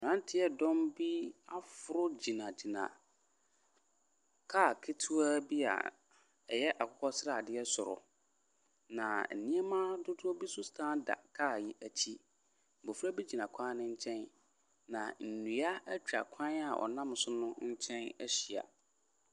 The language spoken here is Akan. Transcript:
Abranteɛ dɔm bi aforo gyinagyina kaa ketoa bi a ɛyɛ akokɔsradeɛ soro na nneɛma dodoɔ bi so san da kaa yi ekyi. Mbɔfra gyina kwan no nkyɛn na ndua etwa kwan a wɔnam so no nkyɛn ehyia.